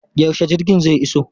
Yaushe jirgin zai iso?